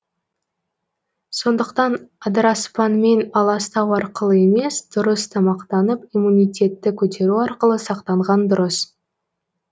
сондықтан адыраспанмен аластау арқылы емес дұрыс тамақтанып иммунитетті көтеру арқылы сақтанған дұрыс